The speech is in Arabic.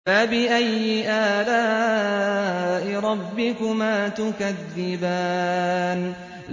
فَبِأَيِّ آلَاءِ رَبِّكُمَا تُكَذِّبَانِ